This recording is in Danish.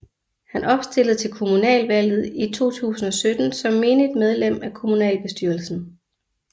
Han genopstillede til kommunalvalget i 2017 som menigt medlem af kommunalbestyrelsen